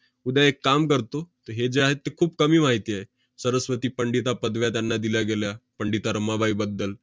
उद्या एक काम करतो, तर हे जे आहे ते खूप कमी माहिती आहे. सरस्वती पंडित या पदव्या त्यांना दिल्या गेल्या पंडिता रमाबाईबद्दल.